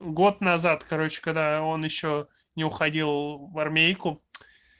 год назад короче когда он ещё не уходил в армейку